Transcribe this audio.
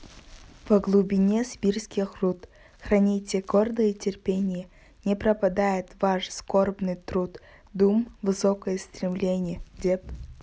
во глубине сибирских руд храните гордое терпенье не пропадет ваш скорбный труд дум высокое стремленье деп